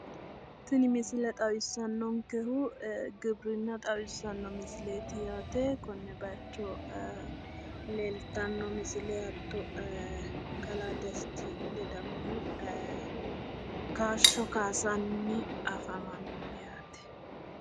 Tini misile xawissannonkehu giwirinna xawissanno misilweti yaate konne bayiicho leeltanno misile hatto kalaa desti ledamohu kaashsho kaasanni afamanno yaate.